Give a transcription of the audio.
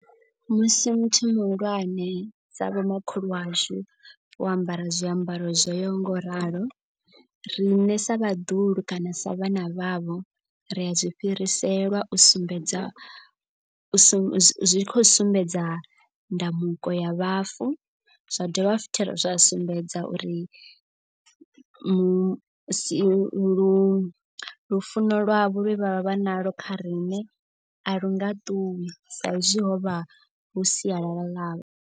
Musi muthu muhulwane sa vhomakhulu washu vho ambara zwiambaro zwoyaho nga u ralo. Riṋe sa vhaḓuhulu kana sa vhana vhavho ri a zwi fhiriselwa u sumbedza u sa zwi khou sumbedza ndamuko ya vhafu. Zwa dovha futhi zwa sumbedza uri mu si lu lufuno lwavho lwe vha vha nalwo kha riṋe a lunga ṱuwi. Sa izwi ho vha lu sialala ḽavho